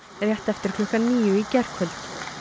rétt eftir klukkan níu í gærkvöld